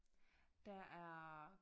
Der er